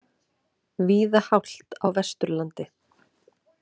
Víða hált á Vesturlandi